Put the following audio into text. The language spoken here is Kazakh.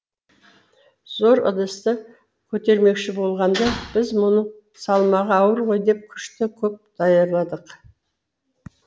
зор ыдысты көтермекші болғанда біз мұның салмағы ауыр ғой деп күшті көп даярладық